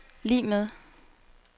lig med